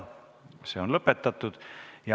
See on lõpetatud.